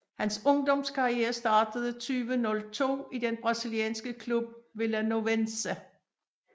Hans ungdomskarriere startede i 2002 i den brasilianske klub Vilanovense